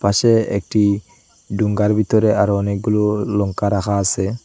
পাশে একটি ডুঙ্গার ভেতরে আরো অনেকগুলি লঙ্কা রাখা আসে।